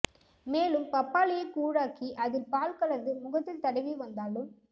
மேலும் பப்பாளியை கூழாக்கி அதில் பால் கலந்து முகத்தில் தடவி வந்தாலும்